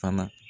Fana